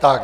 Tak.